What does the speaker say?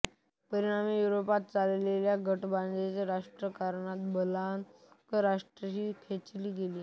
परिणामी युरोपात चाललेल्या गटबाजीच्या राजकारणात बाल्कन राष्ट्रेही खेचली गेली